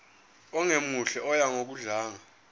ongemuhle oya ngokudlanga